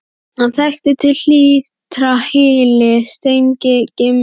Hann þekkti til hlítar hyli, strengi, grynningar og sandbleytur.